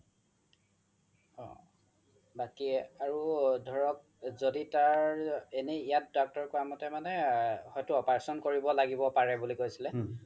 বাকি আৰু ধৰক য্দি তাৰ এনে ইয়াত doctor কুৱা মতে মানে হয়তো operation কৰিব লাগিব পাৰে বুলি কৈছিলে